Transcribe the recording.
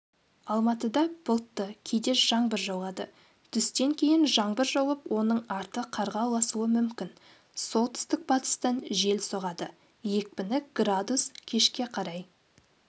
алматыда бұлтты кейде жаңбыр жауады түстен кейін жаңбыр жауып оның арты қарға ұласуы мүмкін солтүстік-батыстан жел соғады екпіні градус кешке қарай